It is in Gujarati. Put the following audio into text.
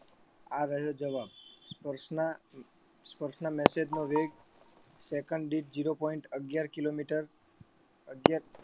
આ રહ્યો જવાબ સ્પર્શના સ્પર્શના message નો વેગ second દીઠ zero point અગિયાર kilometer અગિયાર